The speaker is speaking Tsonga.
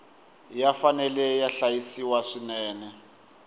ya fanele ya hlayisiwa swinene